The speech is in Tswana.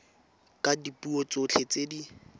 ka dipuo tsotlhe tse di